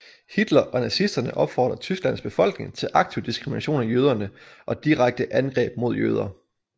Hitler og nazisterne opfordrede Tysklands befolkning til aktiv diskrimination af jøderne og direkte angreb mod jøder